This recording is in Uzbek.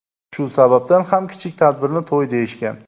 Shu sababdan ham kichik tadbirni to‘y deyishgan.